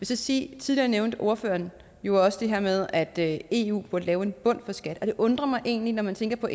så sige at tidligere nævnte ordføreren jo også det her med at eu burde lave en bund for skat det undrer mig egentlig når man tænker på